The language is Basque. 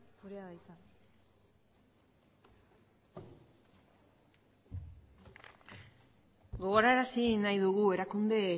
zurea da hitza gogorarazi nahi dugu erakunde